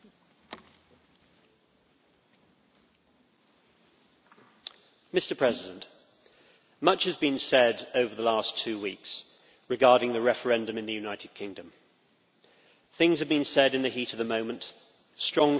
Mr President, much has been said over the last two weeks regarding the referendum in the United Kingdom. Things have been said in the heat of the moment, strong feelings have been expressed on all sides, and emotions have been running high.